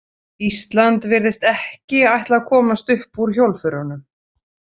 Ísland virðist ekki ætla að komast upp úr hjólförunum.